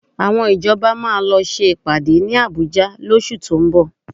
Àwọn ìjọba máa lọ ṣe ìpàdé ní Àbújá lóṣù tó ń bọ̀